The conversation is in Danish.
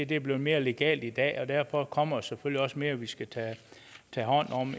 det blevet mere legalt i dag og derfor kommer der selvfølgelig også mere vi skal tage hånd om